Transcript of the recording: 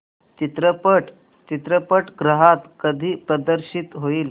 चित्रपट चित्रपटगृहात कधी प्रदर्शित होईल